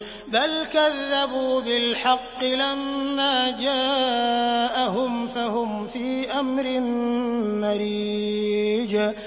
بَلْ كَذَّبُوا بِالْحَقِّ لَمَّا جَاءَهُمْ فَهُمْ فِي أَمْرٍ مَّرِيجٍ